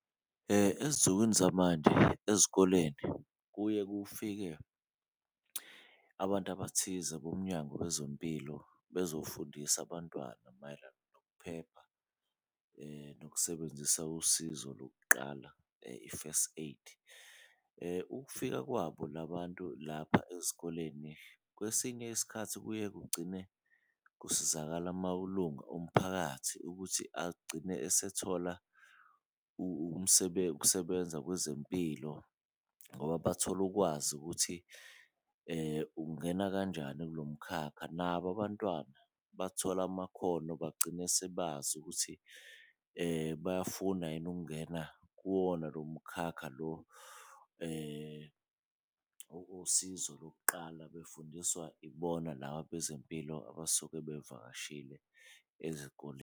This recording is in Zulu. Ezinsukwini zamanje ezikoleni kuye kufike abantu abathize boMnyango wezeMpilo bezofundisa abantwana mayelana nokuphepha nokusebenzisa usizo lokuqala i-first aid. Ukufika kwabo la bantu lapha ezikoleni, kwesinye isikhathi kuye kugcine kusizakala amalungu omphakathi, ukuthi agcine esethola ukusebenza kwezempilo ngoba bathola ukwazi ukuthi ungena kanjani kulo mkhakha. Nabo abantwana bathola amakhono bagcine sebazi ukuthi bayafuna yini ukungena kuwona lo mukhakha lo wokosizo lokuqala, befundiswa ibona laba bezempilo abasuke bevakashile ezikoleni.